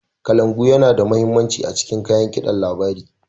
kalangu Yana da mahimmanci a cikin kayan kidin labari.